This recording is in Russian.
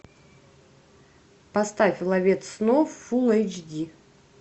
поставь ловец снов фул эйч ди